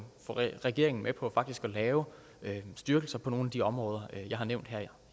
regeringen med på faktisk at lave en styrkelse på nogle af de områder jeg har nævnt her